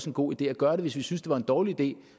en god idé at gøre hvis vi synes det var en dårlig idé